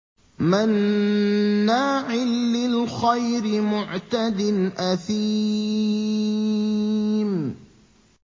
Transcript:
مَّنَّاعٍ لِّلْخَيْرِ مُعْتَدٍ أَثِيمٍ